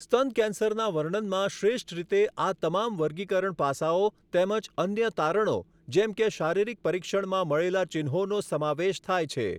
સ્તન કેન્સરના વર્ણનમાં શ્રેષ્ઠ રીતે આ તમામ વર્ગીકરણ પાસાઓ તેમજ અન્ય તારણો, જેમ કે શારીરિક પરીક્ષણમાં મળેલા ચિહ્નોનો સમાવેશ થાય છે.